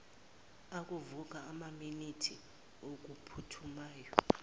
okuvuka emaminithini okuphuthumayo